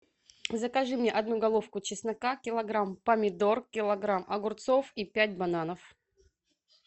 закажи мне одну головку чеснока килограмм помидор килограмм огурцов и пять бананов